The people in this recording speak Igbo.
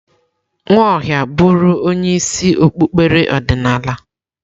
Nwaohia bụrụ onye isi okpukpere ọdịnala.